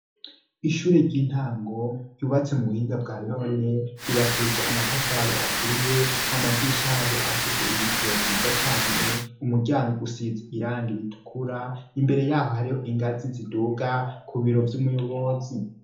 Ishure ry'intango ryubatse mu buhinga bwa none ryubakishije amatafari aturiye amadisha yo afise ibiyo vyiza cane umuryango usize irangi ritukura imbere yaho hariho ingazi ziduga ku biro vy'umuyobozi.